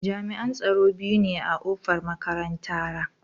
Jami'an tsaro biyu ne a kofar makarantara.